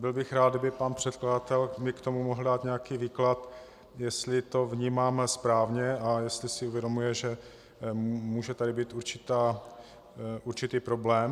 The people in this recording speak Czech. Byl bych rád, kdyby pan předkladatel mi k tomu mohl dát nějaký výklad, jestli to vnímám správně a jestli si uvědomuje, že může tady být určitý problém.